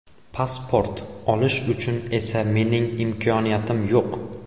Pasport olish uchun esa mening imkoniyatim yo‘q.